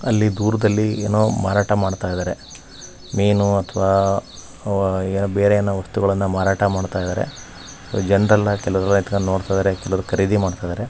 ಅಲ್ಲಿ ದೂರದಲ್ಲಿ ಏನೋ ಮಾರಾಟ ಮಾಡತ್ತಿದರೆ. ಮೀನು ಅಥವಾ ಆವಾ ಏನೋ ಬೇರೆ ಏನೋ ವಸ್ತುಗಲ್ಲನ್ನ ಮಾರಾಟ ಮಾಡ್ತಾಯಿದ್ದಾರೆ. ಜನರೆಲ್ಲ ಕೇಳುವರ ಎಲ್ಲ ನಿಂಥಂಕೊಂಡ್ ನೋಡ್ತಿದ್ದಾರೆ ಕೇಳುವರು ಖರೀದಿ ಮಾಡ್ತಾಯಿದ್ದಾರೆ .